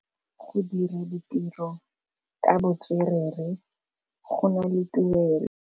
Go dira ditirô ka botswerere go na le tuelô.